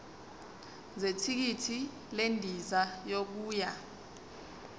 zethikithi lendiza yokuya